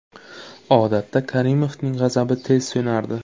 Odatda Karimovning g‘azabi tez so‘nardi.